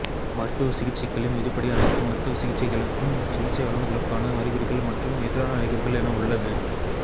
மருத்துவ சிகிச்சைகளின் விதிப்படி அணைத்து மருத்துவ சிகிச்சைகளுக்கும் சிகிச்சை வழங்குதலுக்கான அறிகுறிகள் மற்றும் எதிரான அறிகுறிகள் என உள்ளது